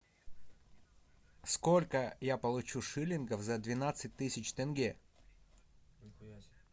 сколько я получу шиллингов за двенадцать тысяч тенге